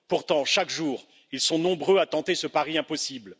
Pourtant, chaque jour, ils sont nombreux à tenter ce pari impossible.